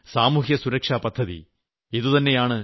ഇത് തന്നെയാണ് സാമൂഹ്യ സുരക്ഷാ പദ്ധതി